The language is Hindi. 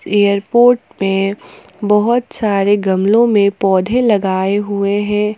एयरपोर्ट में बहुत सारे गमलों में पौधे लगाए हुए हैं।